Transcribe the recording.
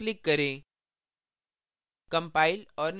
अब save पर click करें